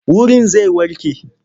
Wurin zai warke?